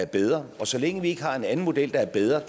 bedre og så længe vi ikke har en anden model der er bedre